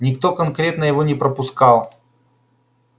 никто конкретно его не пропускал